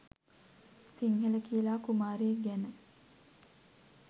සිංහල කියලා කුමාරයෙක් ගැන.